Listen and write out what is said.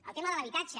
el tema de l’habitatge